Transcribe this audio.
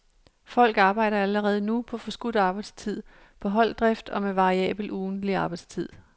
Folk arbejder allerede nu på forskudt arbejdstid, på holddrift og med variabel ugentlig arbejdstid.